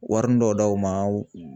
Warini dɔ d'aw ma.